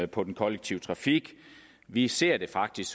på den kollektive trafik vi ser det faktisk